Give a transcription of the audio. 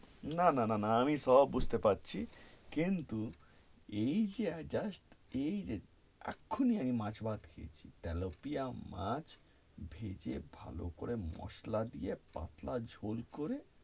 না, না, না, না, আমি সব বুঝতে পারছি, কিন্তু এই যে আমি just এই যে এখুনি আমি মাছ ভাত খেয়েছি, তেলাপিয়া মাছ ভেজে ভালো করে মসলা দিয়ে, পাতলা ঝোল করে,